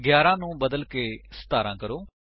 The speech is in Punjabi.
11 ਨੂੰ ਬਦਲਕੇ 17 ਕਰੋ